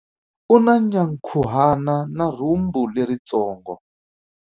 U na nyankhuhana na rhumbu leritsongo.